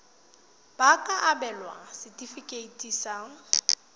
ba ka abelwa setefikeiti sa